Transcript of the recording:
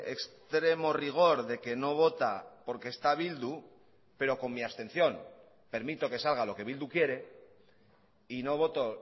extremo rigor de que no vota porque está bildu pero con mi abstención permito que salga lo que bildu quiere y no voto